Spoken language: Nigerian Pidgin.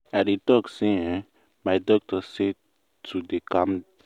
i dey talk say eeh my doctor say to dey calm